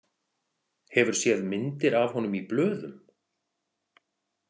Hefur séð myndir af honum í blöðum?